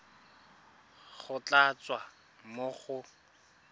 go tla tswa mo go